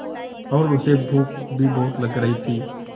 और उसे भूख भी बहुत लग रही थी